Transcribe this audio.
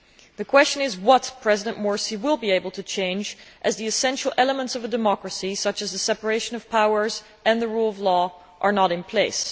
The question is what President Morsi will be able to change, given that the essential elements of a democracy, such as a separation of powers and the rule of law, are not in place.